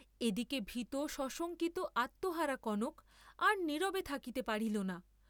এদিকে ভীত, সশঙ্কিত, আত্মহারা কনক, আর নীরবে থাকিতে পারিল না।